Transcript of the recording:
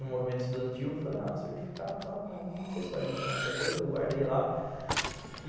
no movimento estudantil, eu falei, ah, certificado e tal, mas não sei se vai adiantar muita coisa, eu guardei lá.